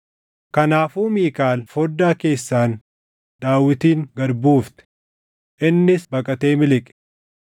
Kanaafuu Miikaal foddaa keessaan Daawitin gad buufte; innis baqatee miliqe.